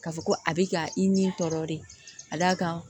K'a fɔ ko a bɛ ka i ni tɔɔrɔ de ka d'a kan